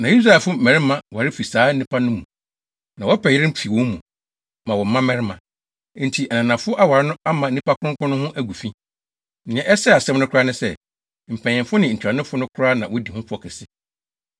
Na Israelfo mmarima ware fi saa nnipa no mu, na wɔpɛ yerenom fi wɔn mu, ma wɔn mmabarima. Enti ananafo aware no ama nnipa kronkron no ho agu fi. Nea ɛsɛee asɛm no koraa ne sɛ, mpanyimfo ne ntuanofo no koraa na wodi ho fɔ kɛse.”